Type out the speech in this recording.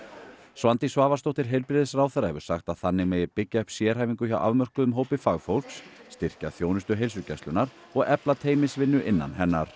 Svandís Svavarsdóttir heilbrigðisráðherra hefur sagt að þannig megi byggja upp sérhæfingu hjá afmörkuðum hópi fagfólks styrkja þjónustu heilsugæslunnar og efla teymisvinnu innan hennar